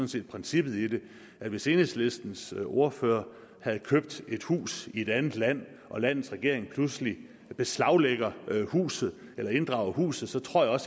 set princippet i det at hvis enhedslistens ordfører havde købt et hus i et andet land og landets regering pludselig beslaglagde huset eller inddrog huset så tror jeg